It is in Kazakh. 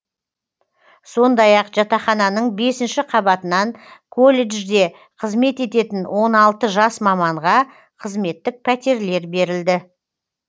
сондай ақ жатақхананың бесінші қабатынан колледжде қызмет ететін он алты жас маманға қызметтік пәтерлер берілді